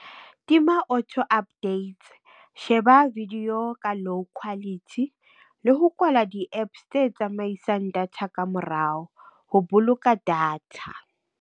Tima auto updates sheba video ka low quality le ho kwalwa di-APPs tse tsamaisang data ka morao ho boloka data.